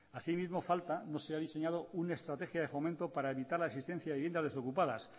asimismo falta no se ha diseñado una estrategia de fomento para evitar la existencia de viviendas desocupadas